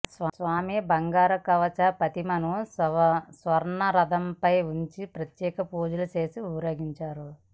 స్వామి బంగారు కవచ ప్రతిమను స్వర్ణరథంపై ఉంచి ప్రత్యేక పూజలు చేసి ఊరేగించారు